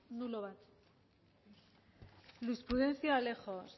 nulo bat luis prudencio alejos